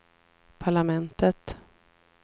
parlamentet